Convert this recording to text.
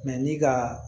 ni ka